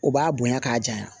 O b'a bonya k'a janya